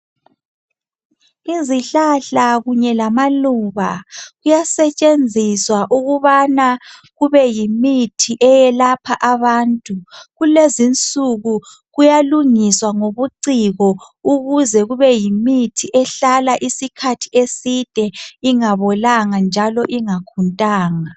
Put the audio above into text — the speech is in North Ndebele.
Izihlahla kunye lamaluba kuyasetshenziswa ukubana kube yimithi eyelapha abantu. Kulezinsuku kuyalungiswa ngobuciko ukuze kube yimithi ehlala isikhathi eside ingabolanga njalo ingakhuntanga.